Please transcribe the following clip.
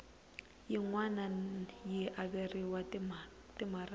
yin wana yi averiwa timaraka